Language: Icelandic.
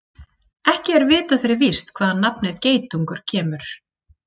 Ekki er vitað fyrir víst hvaðan nafnið geitungur kemur.